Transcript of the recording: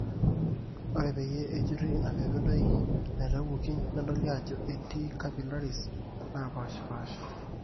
ore peyie ejurri ina peledoi naitawuoki neitodolu ajo etii capillaries naapaashipaasha